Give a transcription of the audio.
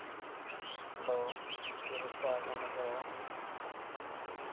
Hello কী বর্ষা কেমন আছো?